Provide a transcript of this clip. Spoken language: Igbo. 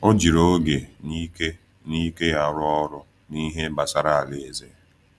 Ọ jiri oge na ike na ike ya rụọ ọrụ n’ihe gbasara Alaeze.